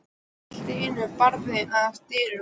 Allt í einu er barið að dyrum.